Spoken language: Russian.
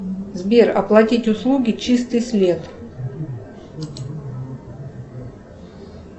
сбер оплатить услуги чистый след